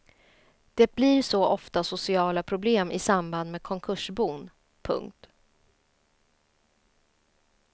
Det blir så ofta sociala problem i samband med konkursbon. punkt